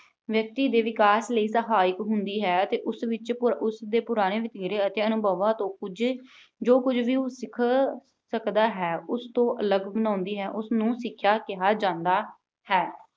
ਵਿਅਕਤੀ ਦੇ ਵਿਕਾਸ ਲਈ ਸਹਾਇਕ ਹੁੰਦੀ ਹੈ ਤੇ ਉਸ ਵਿੱਚ ਪੁ ਅਹ ਉਸ ਦੇ ਪੁਰਾਣੇ ਵਤੀਰੇ ਅਤੇ ਅਨੁਭਵਾਂ ਤੋਂ ਕੁਝ, ਜੋ ਕੁਝ ਵੀ ਉਹ ਸਿੱਖ ਅਹ ਸਕਦਾ ਹੈ, ਉਸ ਤੋਂ ਅਲੱਗ ਬਣਾਉਂਦੀ ਹੈ, ਉਸ ਨੂੰ ਸਿੱਖਿਆ ਕਿਹਾ ਜਾਂਦਾ ਹੈ।